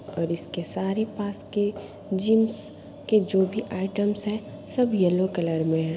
और इसके सारे पास के जिम्स के जो भी आइटम्स हैं सब येलो कलर में हैं।